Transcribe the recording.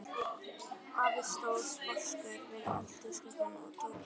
Afi stóð sposkur við eldhúsgluggann og tók í nefið.